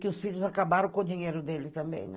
Que os filhos acabaram com o dinheiro deles também, né?